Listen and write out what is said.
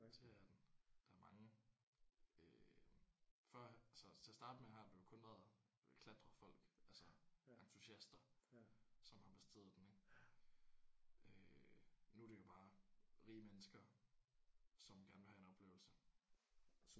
Det er den. Der er mange øh førhen altså til at starte med har den vel kun været klatrefolk altså entusiaster som har besteget den ik. Øh nu er det jo bare rige mennesker som gerne vil have en oplevelse